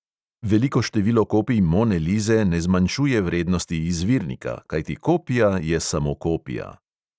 Veliko število kopij mone lize ne zmanjšuje vrednost izvirnika, kajti kopija je samo kopija.